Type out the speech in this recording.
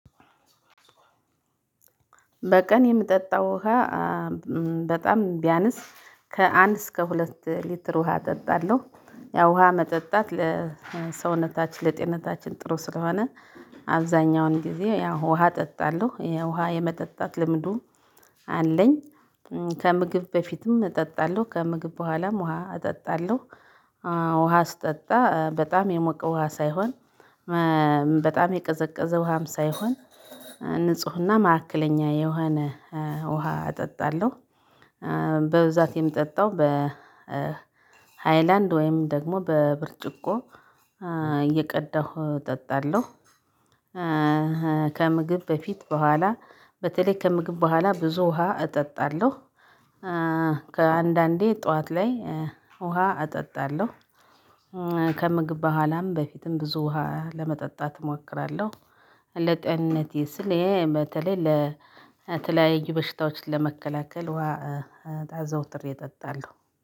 በቀን የምጠጣው ውሃ በጣም ቢያንስ ከአንድ እስከ ሁለት ሊትር ውሃ እጠጣለሁ። ያው ውሃ መጠጣት ለሰውነታችን ለጤንታችን ጥሩ ስለሆነ አብዛኛውን ጊዜ ያው ውሃ እጠጣለሁ የውሃ የመጠጣት ልምዱ አለኝ። ከምግብ በፊትም እጠጣለሁ ከምግብ በኋላም ውሃ እጠጣለሁ። ውሃ ስጠጣ በጣም የሞቀ ውሃ ሳይሆን በጣም የቀዘቀዘ ውሃም ሳይሆን ንፁህና ማዕከለኛ የሆነ ውሃ እጠጣለሁ። በብዛት የምጠጣው በ በሃይላንድ ወይም ደግሞ በብርጭቆ እየቀዳሁ እጠጣለሁ። ከምግብ በፊት በኋላ በተለይ ከምግብ በኋላ ብዙ ውሃ እጠጣለሁ። ከአንዳንዴ ጠዋት ላይ ውሃ እጠጣለሁ። ከምግብ በኋላም በፊትም ብዙ ውሃ ለመጠጣት እሞክራለሁ። ለጤንነቴ ስል ይሄ በተለይ ለተለያየ በሽታዎች ለመከላከል ውሃ አዘወትሬ እጠጣለሁ።